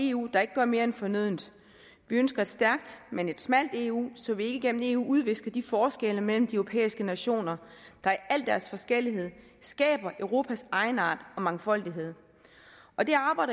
eu der ikke gør mere end fornødent vi ønsker et stærkt men et smalt eu så vi ikke igennem eu udvisker de forskelle mellem de europæiske nationer der i al deres forskellighed skaber europas egenart og mangfoldighed